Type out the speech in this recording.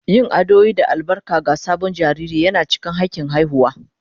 Yin addu'o'i da albarka ga sabon jariri yana cikin hakin haihuwa